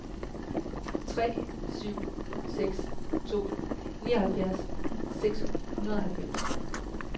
tre syv seks to nioghalvfjerds seks hundrede og halvfems